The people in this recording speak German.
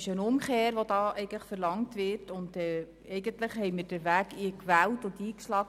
Mit diesem Antrag wird eine Umkehr verlangt, aber eigentlich haben wir den Weg gewählt und eingeschlagen.